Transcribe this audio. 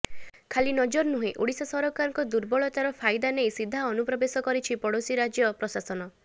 ଖାଲି ନଜର ନୁହେଁ ଓଡ଼ିଶା ସରକାରଙ୍କ ଦୁର୍ବଳତାର ଫାଇଦା ନେଇ ସିଧା ଅନୁପ୍ରବେଶ କରିଛି ପଡ଼ୋଶୀ ରଜ୍ୟ ପ୍ରଶାସନ